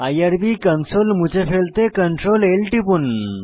IRB console মুছে ফেলতে Ctrl L টিপুন